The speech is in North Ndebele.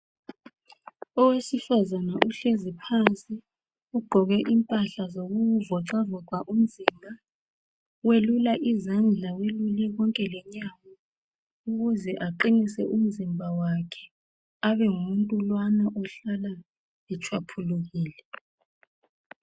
Owesifazane uhlezi phansi, ugqoke impahla zokuvoxavoxa umzimba. Welula izandla ,welule konke lenyawo ukuze aqinise umzimba wakhe abe ngumuntu lowana ohlala etshwaphulukile.